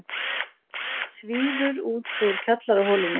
Svífur út úr kjallaraholunni.